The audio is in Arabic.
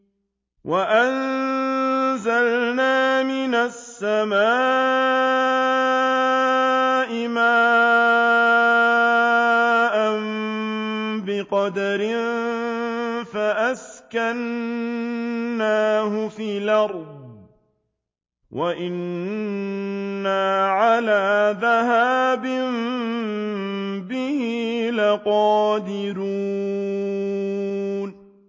وَأَنزَلْنَا مِنَ السَّمَاءِ مَاءً بِقَدَرٍ فَأَسْكَنَّاهُ فِي الْأَرْضِ ۖ وَإِنَّا عَلَىٰ ذَهَابٍ بِهِ لَقَادِرُونَ